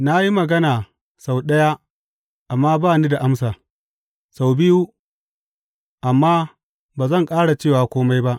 Na yi magana sau ɗaya amma ba ni da amsa, sau biyu, amma ba zan ƙara cewa kome ba.